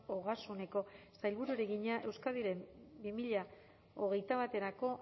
ogasuneko sailburuari egina euskadiren bi mila hogeita baterako